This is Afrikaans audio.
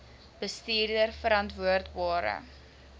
bestuurverantwoordbare